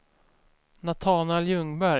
Natanael Ljungberg